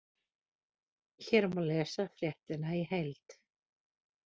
Hér má lesa fréttina í heild